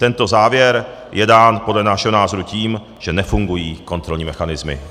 Tento závěr je dán podle našeho názoru tím, že nefungují kontrolní mechanismy.